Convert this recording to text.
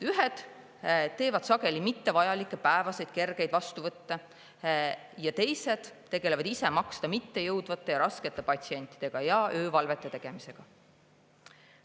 Ühed teevad sageli mittevajalikke päevaseid kergeid vastuvõtte ja teised tegelevad ise maksta mitte jõudvate raskete patsientidega ja öövalvete tegemisega.